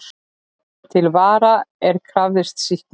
Til vara er krafist sýknu.